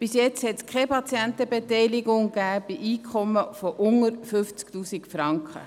Bisher gab es keine Kostenbeteiligung für Patienten bei einem Einkommen unter 50 000 Franken.